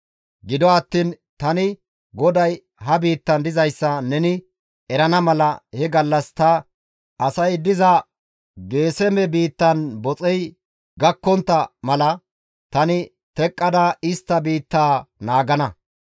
Gido attiin tani GODAY ha biittan dizayssa neni erana mala he gallas ta asay diza Geeseme biittan boxey gakkontta mala tani teqqada istta biittaa naagana.